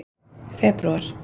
febrúar